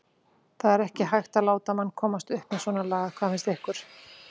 það er ekki hægt að láta mann komast upp með svona lagað. hvað finnst ykkur?